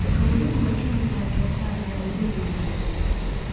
Dawladdu waa inay taageertaa beeralayda yaryar.